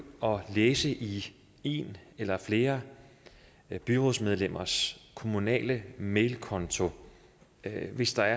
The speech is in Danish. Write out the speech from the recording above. og læse i en eller flere byrådsmedlemmers kommunale mailkonto hvis der